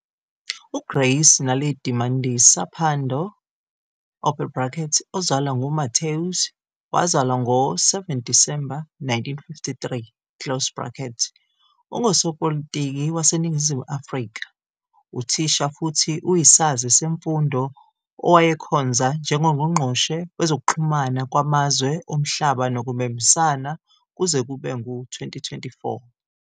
UGrace Naledi Mandisa Pandor, ozalwa ngUMatthews, wazalwa ngo-7 Disemba 1953, ungusopolitiki waseNingizimu Afrika, uthisha futhi uyisazi semfundo owayekhonza njengoNgqongqoshe Wezokuxhumana Kwamazwe Omhlaba Nokubambisana kuze kube ngu-2024.